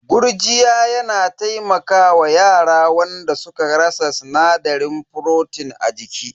Gurjiya yana taimaka wa yara wanda suka rasa sinadarin furotin a jiki.